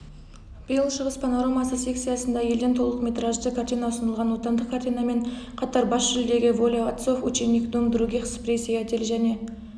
биыл шығыс панорамасы секциясында елден толықметражды картина ұсынылған отандық картинамен қатар бас жүлдеге воля отцов ученик дом других спрей сеятель және